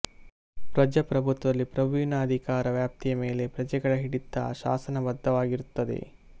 ಪ್ರಜಾಪ್ರಭುತ್ವದಲ್ಲಿ ಪ್ರಭುವಿನ ಅಧಿಕಾರ ವ್ಯಾಪ್ತಿಯ ಮೇಲೆ ಪ್ರಜೆಗಳ ಹಿಡಿತ ಶಾಸನಬದ್ಧ ವಾಗಿರುತ್ತದೆ